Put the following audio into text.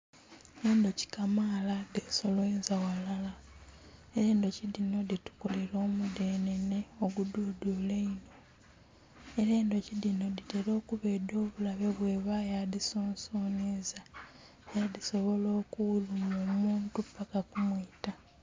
Endhuki kamala dhesoloonza ghalala, endhuki dhitukolera omudhenhenhe ogudhudhula inho era endhuki dhinho dhitera okuba edhobulabe bweebayo adhisonseinhiza agho dhisobola okuluma omuntu paka kumiita